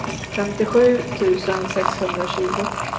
femtiosju tusen sexhundratjugo